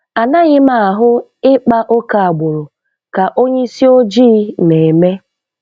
Anaghị m ahụ ịkpa ókè agbụrụ ka onye isi ojii na-eme.